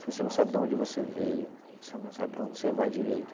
Se você não sabe de onde você veio, você não sabe para onde você vai direito.